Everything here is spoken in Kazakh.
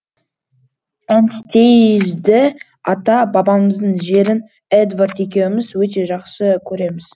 энстейзді ата бабамыздың жерін эдвард екеуміз өте жақсы көреміз